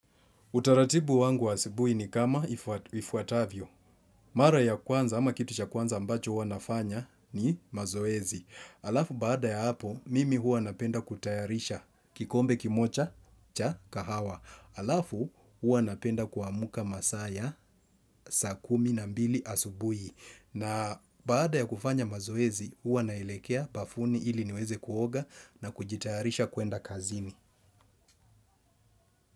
Utaratibu wangu wa asubuhi ni kama ifuatavyo. Mara ya kwanza ama kitu cha kwanza ambacho huwa nafanya ni mazoezi. Halafu baada ya hapo, mimi huwa napenda kutayarisha kikombe kimoja cha kahawa. Halafu huwa napenda kuamka masaa ya sa kumi na mbili asubui. Na baada ya kufanya mazoezi, huwa naelekea bafuni ili niweze kuoga na kujitayarisha kuenda kazini.